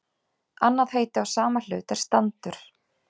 Annað heiti á sama hlut er standur.